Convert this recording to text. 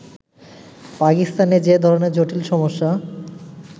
পাকিস্তানে যে ধরণের জটিল সমস্যা